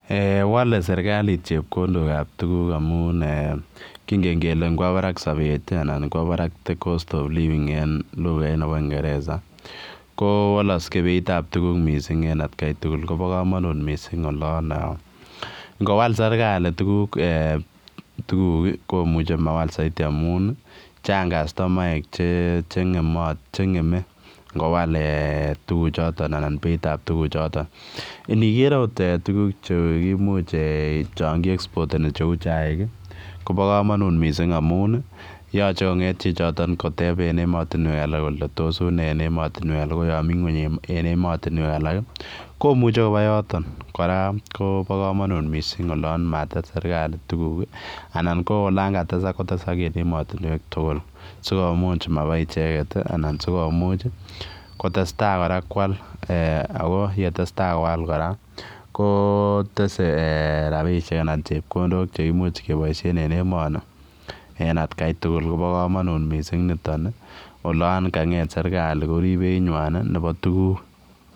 Eeh wale serikaliit tuguuk ab chepkondook amuun eeh kongeen kele kowa barak sapeet anan ingowaa barak the [cost of living] eng lugait nebo ko walaksei beit ab kiiy age tugul koba kamanuut olaan eeh ngowal serikali tuguuk ii komuchei mawal saidi amuun chaang customaek che ngeme ngowaal ehh anan beit ab tuguuk chotoon inikeer akoot eeh tuguuk chaan kiexporteni che uu chaik koba kamanuut missing amuun yachei konai kole tos unee ematinweek alaak ii komuchei kobaa yotoon kora koba kamanuut olaan mates serikali tuguuk anan olaan katesaak kotesaak en ematinweek tuguul che maboo ichegeet ii anan sikomuuch ii kotestai kora koyaal ako ye tesetai loyal kora ko tesetai rapisheek anan chepkondook cheimuuch kebaisheen eng emaniien at Kai tugul kobaa kamanut nitoon ii olaan kanget serikali koriib beit nywaany nebo tuguuk.